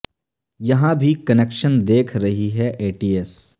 یہاں بھی کنکشن دیکھ رہی ہے اے ٹی ایس